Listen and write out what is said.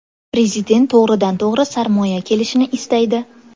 Prezident to‘g‘ridan-to‘g‘ri sarmoya kelishini istaydi.